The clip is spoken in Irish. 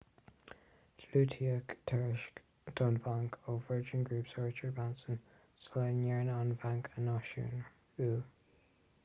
diúltaíodh tairiscint don bhanc ó virgin group sir richard branson sula ndearnadh an banc a náisiúnú